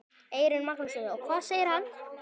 Eyrún Magnúsdóttir: Og hvað segir hann?